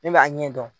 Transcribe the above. Ne b'a ɲɛ dɔn